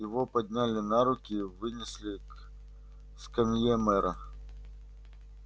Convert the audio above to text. его подняли на руки и вынесли к скамье мэра